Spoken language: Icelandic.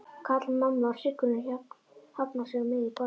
kallar mamma og hryggurinn hafnar sig á miðju borði.